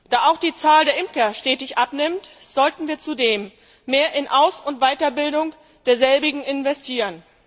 Da auch die Zahl der Imker stetig abnimmt, sollten wir zudem mehr in Aus und Weiterbildung derselbigen investieren.